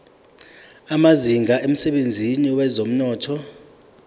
amazinga emsebenzini wezomnotho